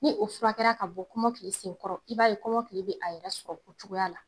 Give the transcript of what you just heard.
Ni o furakɛla ka bɔ kɔmɔkili sen kɔrɔ, i b'a ye kɔmɔkili b'a yɛrɛ sɔrɔ o cogoya la.